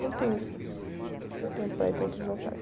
Não tenho tempo para ir para outros locais.